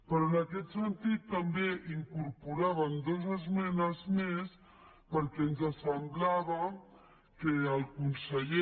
però en aquest sentit també incorporàvem dues esmenes més perquè ens semblava que el conseller